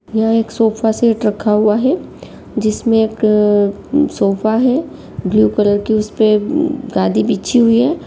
यह एक sofa set रखा हुआ है जिसमें एक सोफा है ब्लू कलर की उसपे उम्म गादी बिछी हुई है।